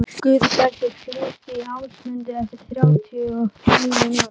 Guðbergur, hringdu í Ásmundu eftir þrjátíu og níu mínútur.